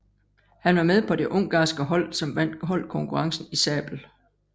Han var med på det ungarske hold som vandt holdkonkurrencen i sabel